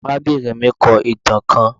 Arabinrin mi kọ itan kan